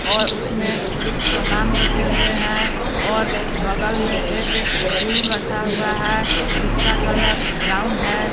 और उसमें कुछ सामान रखे हुए हैं और बगल में एक स्टूल रखा हुआ है जिसका कलर ब्राउन है।